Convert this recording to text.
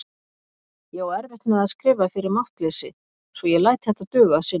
Ég á erfitt með að skrifa fyrir máttleysi svo ég læt þetta duga að sinni.